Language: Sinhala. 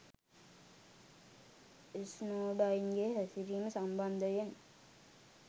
ස්නෝඩන්ගේ හැසිරීම සම්බන්ධයෙන්